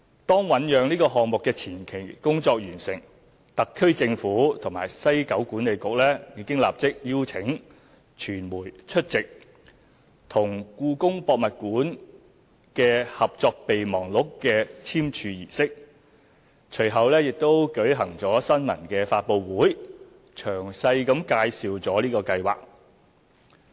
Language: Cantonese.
當醞釀項目的前期工作完成，特區政府和西九管理局已經立即邀請傳媒出席與故宮博物院的《合作備忘錄》的簽署儀式，隨後並舉行新聞發布會，詳細介紹計劃。